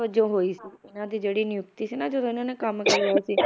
ਵਜੋਂ ਹੋਈ ਸੀ ਇਹਨਾਂ ਦੀ ਜਿਹੜੀ ਨਿਯੁਕਤੀ ਸੀ ਨਾ ਜਦੋਂ ਇਹਨਾਂ ਨੇ ਕੰਮ ਕਰਿਆ ਸੀ